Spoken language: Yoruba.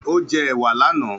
Ó jẹ́ èwà lánàá.